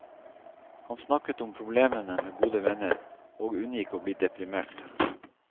Han snakket om problemene med gode venner, og unngikk å bli deprimert.